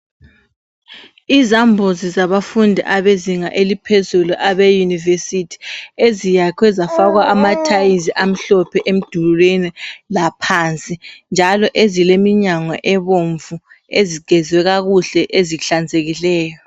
Izambuzi zabafundi abezinga eliphezulu abeyunivesithi, eziyakhiwe zafakwa amathayili amhlophe emdulini laphansi. Njalo ezileminyango ebomvu ezigezwe kakuhle ezihlanzekileyo.